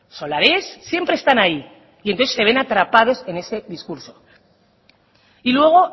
solar ez siempre están ahí y entonces se ven atrapados en este discurso y luego